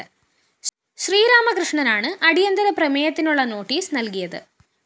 ശ്രീരാമകൃഷ്ണനാണ് അടിയന്തരപ്രമേയത്തിനുള്ള നോട്ടീസ്‌ നല്കിയത്